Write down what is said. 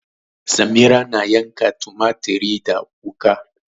Samira na yanka tumatir da wuka.